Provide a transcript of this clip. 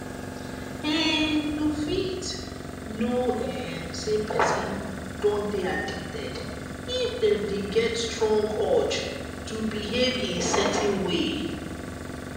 um you fit know um sey person don dey addicted if dem dey get strong urge to behave in certain way